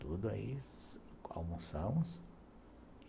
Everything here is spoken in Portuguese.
Tudo aí, almoçamos.